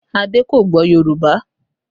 Ade kò gbọ́ Yorùbá